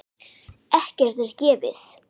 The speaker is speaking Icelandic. Ekkert er gefið.